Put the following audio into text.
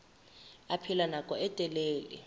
a phela nako e telele